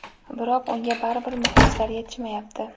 biroq unga baribir muxlislar yetishmayapti.